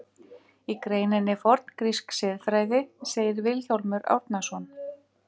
Í greininni Forngrísk siðfræði segir Vilhjálmur Árnason: